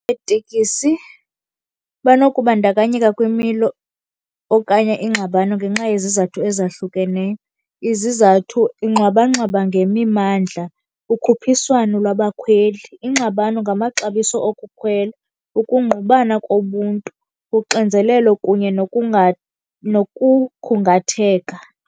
Betekisi banokubandakanyeka kwimilo okanye iingxabano ngenxa yezizathu ezahlukeneyo. Izizathu, iingxwabangxwaba ngemimandla, ukhuphiswano lwabakhweli, iingxabano ngamaxabiso okukhwela, ukungqubana kobuntu, uxinzelelo kunye nokukhungatheka.